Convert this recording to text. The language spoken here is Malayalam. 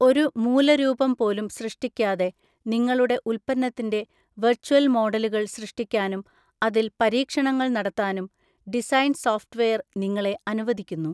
ഒരു മൂലരൂപം പോലും സൃഷ്ടിക്കാതെ നിങ്ങളുടെ ഉൽപ്പന്നത്തിന്റെ വെർച്വൽ മോഡലുകൾ സൃഷ്ടിക്കാനും അതിൽ പരീക്ഷണങ്ങൾ നടത്താനും ഡിസൈൻ സോഫ്റ്റ്‌വേർ നിങ്ങളെ അനുവദിക്കുന്നു.